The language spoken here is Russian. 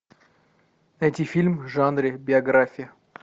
найти фильм в жанре биография